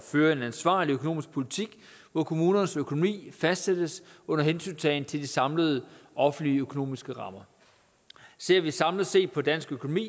føre en ansvarlig økonomisk politik hvor kommunernes økonomi fastsættes under hensyntagen til de samlede offentlige økonomiske rammer ser vi samlet set på dansk økonomi